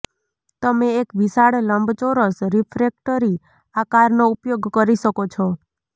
તમે એક વિશાળ લંબચોરસ રીફ્રેક્ટરી આકારનો ઉપયોગ કરી શકો છો